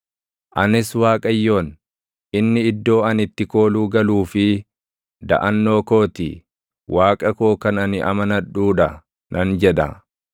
Anis Waaqayyoon, “Inni iddoo ani itti kooluu galuu fi // daʼannoo koo ti; Waaqa koo kan ani amanadhuu dha” nan jedha.